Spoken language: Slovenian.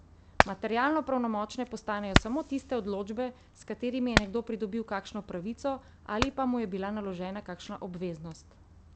Materialno pravnomočne postanejo samo tiste odločbe, s katerimi je nekdo pridobil kakšno pravico ali pa mu je bila naložena kakšna obveznost.